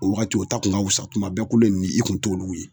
O wagati o ta kun ka wusa kuma bɛɛ kolo in i kun t'olu ye